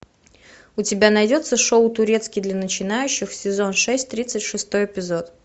у тебя найдется шоу турецкий для начинающих сезон шесть тридцать шестой эпизод